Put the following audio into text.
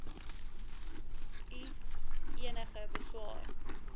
u enige beswaar